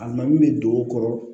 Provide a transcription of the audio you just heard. A ma min bɛ don o kɔrɔ